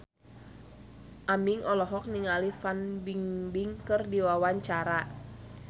Aming olohok ningali Fan Bingbing keur diwawancara